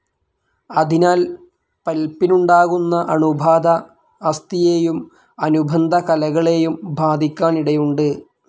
അതിനാൽ പൽപ്പിനുണ്ടാകുന്ന അണുബാധ അസ്ഥിയെയും അനുബന്ധ കലകളേയും ബാധിക്കാനിടയുണ്ട്.